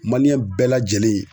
bɛɛ lajɛlen